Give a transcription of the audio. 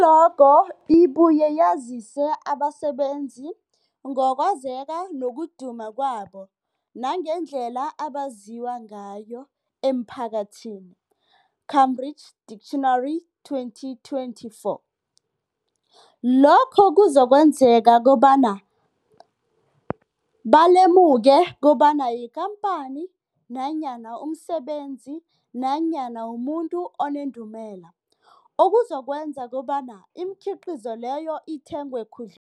I-logo ibuye yazise abasebenzisi ngokwazeka nokuduma kwabo nangendlela abaziwa ngayo emphakathini, Cambridge Dictionary, 2024. Lokho kuzokwenzeka kobana balemuke kobana yikhamphani nanyana umsebenzi nanyana umuntu onendumela, okuzokwenza kobana imikhiqhizo leyo ithengwe khudl